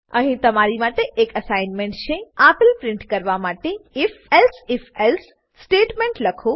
અહીં તમારી માટે એક એસાઈનમેંટ છે આપેલ પ્રીંટ કરવા માટે if elsif એલ્સે સ્ટેટમેંટ લખો